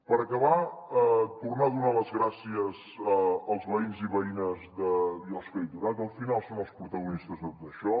per acabar tornar a donar les gràcies als veïns i veïnes de biosca i torà que al final són els protagonistes de tot això